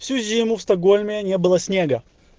всю зиму в стокгольме не было снега